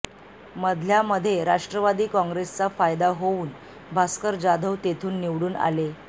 मधल्यामध्ये राष्ट्रवादी काँग्रेसचा फायदा होऊन भास्कर जाधव तेथून निवडून आले